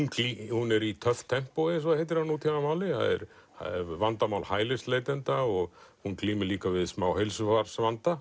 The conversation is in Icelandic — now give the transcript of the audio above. hún er í töff tempói eins og það heitir á nútímamáli það eru vandamál hælisleitenda og hún glímir líka við smá heilsufarsvanda